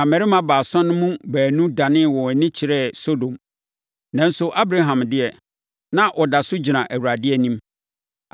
Na mmarima baasa no mu baanu danee wɔn ani kyerɛɛ Sodom. Nanso, Abraham deɛ, na ɔda so gyina Awurade anim.